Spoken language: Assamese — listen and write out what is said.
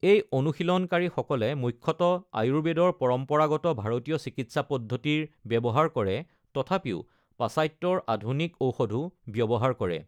এই অনুশীলনকাৰীসকলে মুখ্যতঃ আয়ুৰ্বেদৰ পৰম্পৰাগত ভাৰতীয় চিকিৎসা পদ্ধতিৰ ব্যৱহাৰ কৰে, তথাপিও পাশ্চাত্যৰ আধুনিক ঔষধো ব্যৱহাৰ কৰে।